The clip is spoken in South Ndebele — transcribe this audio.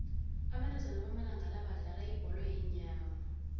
abentazana bamalanga la sebadlala ibholo yeenyawo